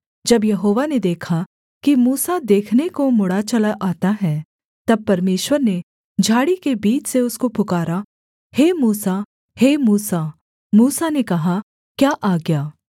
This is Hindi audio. जब यहोवा ने देखा कि मूसा देखने को मुड़ा चला आता है तब परमेश्वर ने झाड़ी के बीच से उसको पुकारा हे मूसा हे मूसा मूसा ने कहा क्या आज्ञा